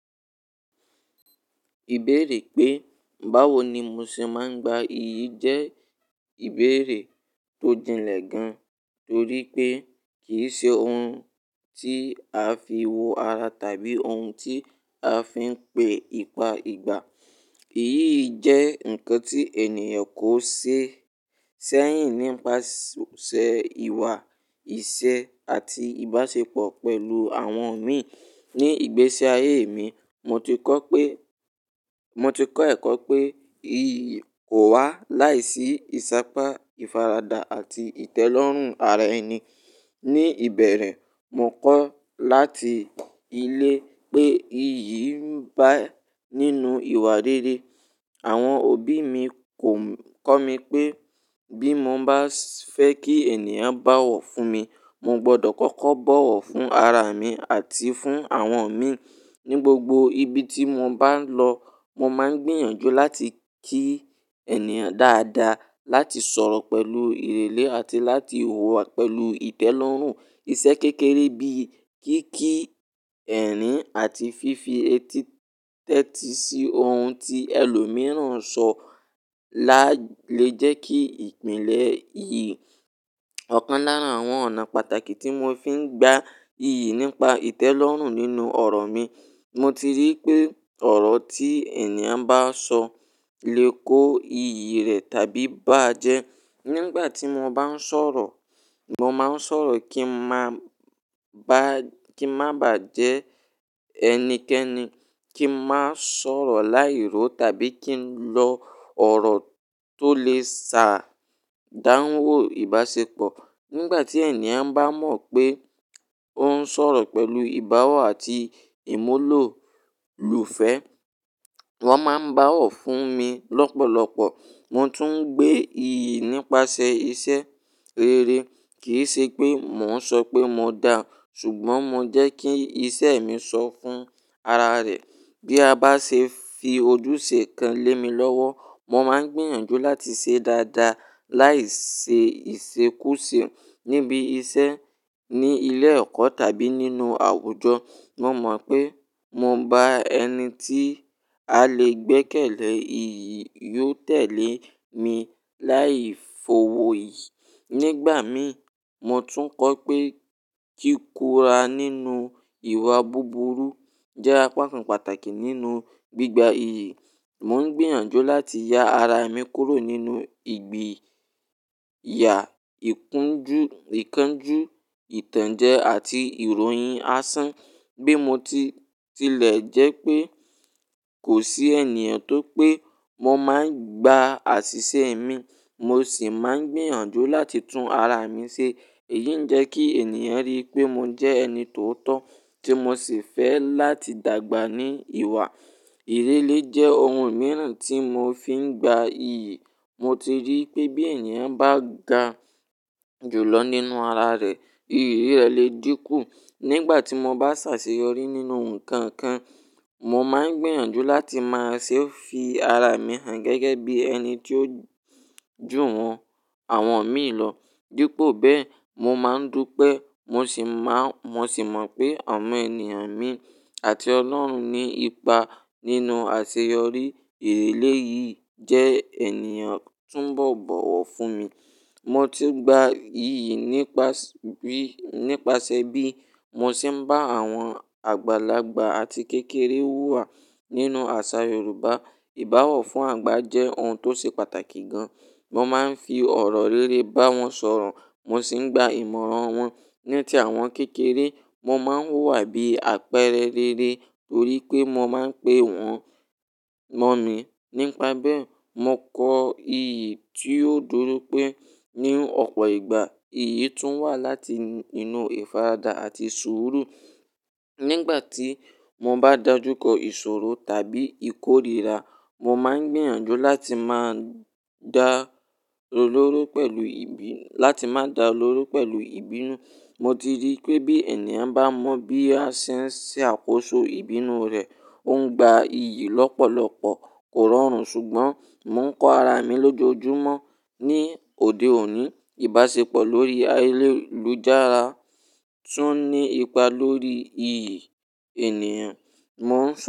Ìbéèrè pé báwo ni mo ṣe máa ń gba iyì jẹ́ ìbéèrè tó jinlẹ̀ gan, torí pé kì í ṣe ohun tí a fi wo ara tàbí ohun tí a fi ń pe ipa ìgbà. Eyì jẹ́ nǹkan tí ènìyàn kò ṣe sẹ́yìn nípasẹ̀ ìwà ìṣe àti ìbáṣepọ̀ pẹ̀lú àwọn mi. Ni ìgbésí ayé mi, mo ti kọ́ pé, mo ti kọ́ ẹ̀kọ́ pé iyì kò wá láìsí ìsápá, ìfaradà àti ìtẹ́lọ́rùn ara ẹni. Ni ìbẹ̀rẹ̀, mo kọ́ láti ilé pé iyì ń ba nínu ìwà rere. Àwọn òbí mi kò ń kọ́ mi pé bí mo bá fẹ́ kí ènìyàn báwọ̀ fún mi, mo gbọdọ̀ kọ́kọ́ bọ̀wọ̀ fún ara mi àti fún àwọn mi. Ni gbogbo ibi tí mo bá lọ, mo máa ń gbìyànjú láti kí ènìyàn dáadáa, láti sọ̀rọ̀ pẹ̀lú ìrèlè àti láti hùwà pẹ̀lú ìtẹ́lọ́rùn. Iṣẹ́ kékeré bíi kíkí ẹ̀rín àti fífi etéti sí ohun tí ẹlòmíràn sọ lálé jẹ́ kí ìpìnlẹ̀ iyì. Ọ̀kan lára àwọn ọ̀nà pàtàkì tí mo fi ń gba iyì nípa ìtẹ́lọ́rùn nínú ọ̀rọ̀ mi. Mo ti rí pé ọ̀rọ̀ tí ènìyàn bá sọ le kó iyì rẹ̀ tàbí bàjẹ́. Nígbà tí mo bá ń sọ̀rọ̀, mo máa ń sọ̀rọ̀ kí n máa ba, kí n má bàjẹ́ ẹnikẹ́ni, kí n má sọ̀rọ̀ láìró tàbí kí n lọ ọ̀rọ̀ tó lè ṣàdánwó ìbáṣepọ̀. Nígbà tí ènìyàn bá mọ̀ pé ó ń sọ̀rọ̀ pẹ̀lú ìbáwọ̀ àti ìmúlòlùfẹ́, wọ́n máa ń báwọ̀ fún mi lọ́pọ̀lọpọ̀. Mo tún ń gbé iyì nípasẹ̀ iṣẹ́ rere. Kì í ṣe pé mò ń sọ pé mo da, ṣùgbọ́n mo jẹ́ kí iṣẹ́ mi sọ fún ara rẹ̀. Bí a bá ṣe fi ojúṣe kan lé mi lọ́wọ́, mo máa ń gbìyànjú láti ṣe dáadáa láìṣe ìṣekúṣe. Nibi iṣẹ́ ní ilé ẹ̀kọ́ tàbí nínú àwùjọ, mo mọ̀ pé mo bá ẹni tí a lè gbẹ́kẹ̀lé, iyì yóò tẹ̀lé mi láì fowo yí. Nígbà mí, mo tún kọ́ pé kíkúra nínú ìwà búburú jẹ́ apá kan pàtàkì nínú gbígba iyì. Mò ń gbìyànjú láti ya ara mi kúrò nínú ìgbìyà, ìkanjú, ìtànjẹ àti ìròyìn asán. Bi mo ti tilẹ̀ jẹ́ pé kò sí ènìyàn tó pé mo máa ń gba àṣìṣe mi, mo sì máa ń gbìyànjú láti tún ara mi ṣe. Èyí ń jẹ́ kí ènìyàn rí i pé mo jẹ́ ẹni tó tọ́, tí mo sì fẹ́ láti dàgbà ní ìwà. Ìrèlè jẹ́ ohun mìíràn tí mo fi ń gba iyì. Mo ti rí i pé bí ènìyàn bá ga jùlọ nínú ara rẹ̀, iyì rẹ̀ le dínkù. Nígbà tí mo bá ṣàṣeyọrí nínú nǹkan kan, mo máa ń gbìyànjú láti máa ṣe fi ara mi hàn gẹ́gẹ́ bí ẹni tí ó jùwọ́n àwọn mi lọ. Dípo bẹ́ẹ̀, mo máa ń dùn pé mo sì má, mo sì mọ̀ pé ọmọ ènìyàn mi àti Ọlọ́run ní ipa nínú àṣeyọrí. Ìrèlè yìí jẹ́ ènìyàn túnbọ̀ bọ̀wọ̀ fún mi. Mo ti gba iyì nípasẹ̀ bí, nípasẹ̀ bí mo ṣe ń bá àwọn àgbàlagbà àti kékeré hùwà nínú àṣà Yorùbá. Ìbáwọ̀ fún àgbà jẹ́ ohun tó ṣe pàtàkì gan. Wọ́n máa ń fi ọ̀rọ̀ rere bá wọn sọ̀rọ̀, mo sì ń gba ìmọ̀ràn wọn. Ní tí àwọn kékeré, mo máa ń hùwà bíi apẹ̀rẹ̀ rere torí pé mo máa ń pe wọ́n mọ̀mi. Nípa bẹ́ẹ̀, mo kọ iyì tí ó dúró pé ní ọ̀pọ̀ ìgbà, iyì tún wà láti inú ìfaradà àti suuru. Nígbà tí mo bá dàjúkọ ìṣòro tàbí ìkórìíra, mo máa ń gbìyànjú láti má dà lóró pẹ̀lú ìbí, láti má dà lóró pẹ̀lú ìbínú. Mo ti rí i pé bí ènìyàn bá mọ̀ bí a ṣe ń ṣe àkóso ìbínú rẹ̀, ó ń gba iyì lọ́pọ̀lọpọ̀ kò rọrùn ṣùgbọ́n mò ń kọ́ ara mi lójoojúmọ́. Ni òde òní, ìbáṣepọ̀ lórí ayélujára tún ní ipa lórí iyì ènìyàn. Mò ń sọ.